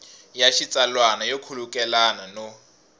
ya xitsalwana yo khulukelana no